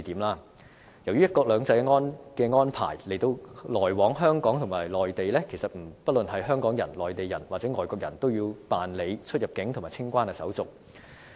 由於"一國兩制"的安排，來往香港及內地，不論是香港人、內地人或外國人，都要辦理出入境及清關手續。